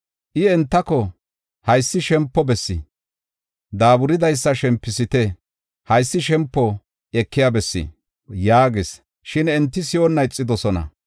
I entako, “Haysi shempo bessi; daaburidaysa shempisite. Haysi shempi ekiya bessi” yaagis. Shin enti si7onna ixidosona.